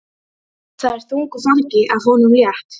Það er þungu fargi af honum létt.